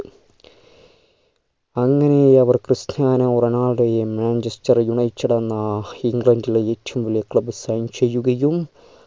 അങ്ങനെ അവർ ക്രിസ്റ്റ്യാനോ റൊണാൾഡോയെ manchester united എന്ന ഇംഗ്ലണ്ടിലെ ഏറ്റവും club sign ചെയ്യുകയും